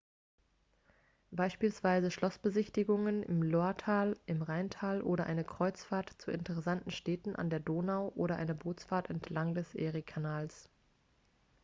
beispielsweise schlossbesichtigungen im loiretal im rheintal oder eine kreuzfahrt zu interessanten städten an der donau oder eine bootsfahrt entlang des eriekanals